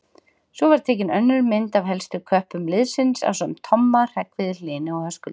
Svo var tekin önnur mynd af helstu köppum liðsins ásamt Tomma, Hreggviði, Hlyni og Höskuldi.